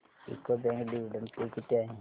UCO bank dividend pay किती आहे